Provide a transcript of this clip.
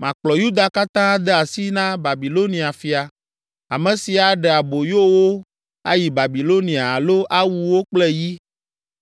Makplɔ Yuda katã ade asi na Babilonia fia, ame si aɖe aboyo wo ayi Babilonia alo awu wo kple yi.